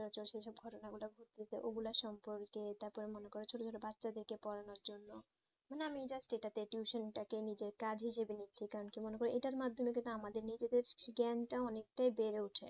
ঘুরতে চে ঐই গুলু সম্পর্কে তার পরে মনে করো ছোটো ছোটো বাচ্চা দের কে পোড়ানো জন্য মানে আমি যা যেটা tuition তাকে নিজে কাজে জেবে নিচ্ছি কেনো কি মনে করো এইটা মাধমেয়ে কিন্তু আমাদের নিজেদের জ্ঞান তা অনেক তা বের হয়ে উঠে